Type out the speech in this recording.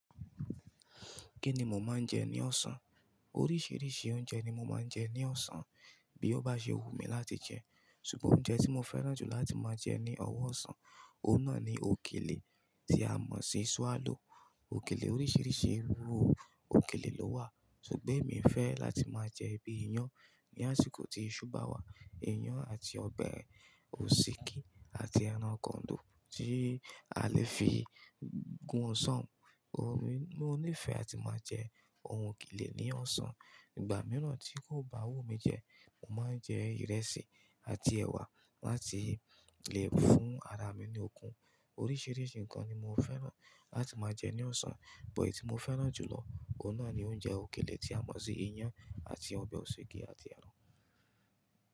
Kí ni mo máa ń jẹ ní ọ̀sán? Oríṣiríṣi oúnjẹ ni mo máa ń jẹ ní ọ̀sán bí ó bá ṣe wù mí láti jẹ. Ṣugbọn oúnjẹ tí mo fẹ́ràn jù láti máa jẹ ní ọ̀wọ̀ ọ̀sán, òun náà ni òkèlè tí a mọ̀ sí swallow. Òkèlè oríṣiríṣi irú òkèlè ló wà, ṣùgbọ́n èmi fẹ́ láti máa jẹ bi iyán ní àsìkò tí iṣu bá wà, iyán àti ọbẹ̀ Òsíkí àti ẹran kọ̀ńdó tí a lè fi gún ọsán. Mo nífẹ̀ẹ́ láti máa jẹ ohun òkèlè ní ọ̀sán. Ìgbà mìíràn tí kò bá wù mí jẹ, mo máa ń jẹ ìrẹsì àti ẹ̀wà láti le fún ara mi ní okun. Oríṣiríṣi nǹkan ni mo fẹ́ràn láti máa jẹ ní ọ̀sán, but eyi ti mo fẹ́ràn jùlọ, òun náà ni oúnjẹ òkèlè tí a mọ̀ sí iyán àti ọbẹ̀ òsíkí àti ẹran.